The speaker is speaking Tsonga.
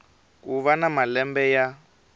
ku va na malembe ya